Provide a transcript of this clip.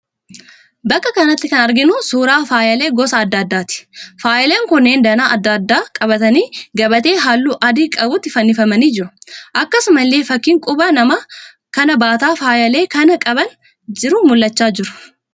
Bakka kanatti kan arginuu suuraa faayyaalee gosa adda addaati. Faayyaaleen kunneen danaa adda addaa qabaatanii gabatee halluu adii qabutti fannifamanii jiru. Akkasumallee fakkiin quba namaa kan baataa faayyaalee kana qabaa jiru mul'achaa jira.